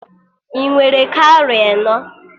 Ị nwere kawrị enọ?